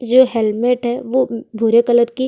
जो हेल्मेट हे वो भूरे कलर की--